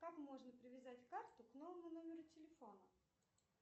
как можно привязать карту к новому номеру телефона